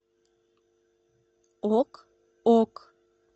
ок ок